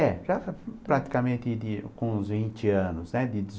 É, já praticamente com uns vinte anos, né? De